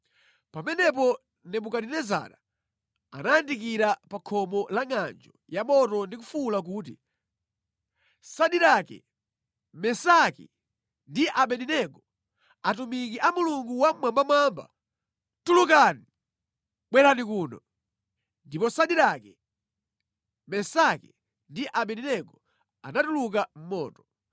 Pamenepo Nebukadinezara anayandikira pa khomo langʼanjo ya moto ndi kufuwula kuti, “Sadirake, Mesaki ndi Abedenego, atumiki a Mulungu Wammwambamwamba, tulukani! Bwerani kuno!” Ndipo Sadirake, Mesaki ndi Abedenego anatuluka mʼmoto,